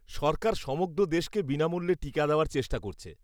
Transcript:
সরকার সমগ্র দেশকে বিনামূল্যে টিকা দেওয়ার চেষ্টা করছে।